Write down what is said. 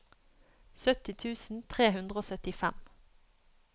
sytti tusen tre hundre og syttifem